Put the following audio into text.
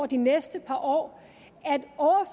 de næste par år